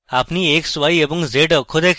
আপনি x y এবং z অক্ষ দেখেন